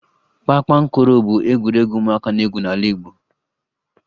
Kpakpankoro bụ egwuregwu ụmụaka na-egwu n'ala Igbo